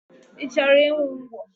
I chọrọ ịṅụ ngwọ?